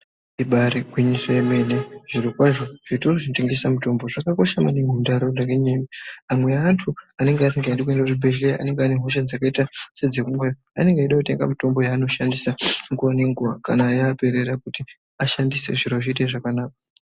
Ibaari gwinyiso yemene , zvirokwazvo zvitoro zvinotengesa mitombo, zvakakosha maningi muntaraunda ngenyaya yekuti amwe eantu anenge asingadi kuende kuzvibhedhleya ,anenge ane hosha dzakaita sedzepfungwa, anenge eida kutenga mitombo yeanoshandisa nguwa nenguwa kana yaperera kuti ashandise, zviro zviite zvakanaka.